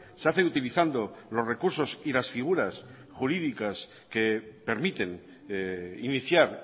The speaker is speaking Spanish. se hace utilizando los recursos y las figuras jurídicas que permiten iniciar